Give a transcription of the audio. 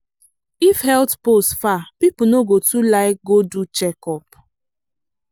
if health post far people no go too like go do checkup.